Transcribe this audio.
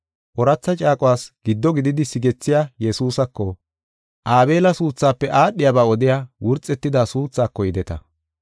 Ooratha caaquwas giddo gididi sigethiya Yesuusako, Aabela suuthaafe aadhiyaba odiya wurxetida suuthako yideta.